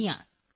ਸ ਅਲਸੋ